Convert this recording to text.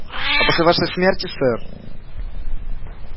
а после вашей смерти сэр